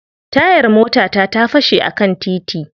Tayar motata ta fashe a kan titi.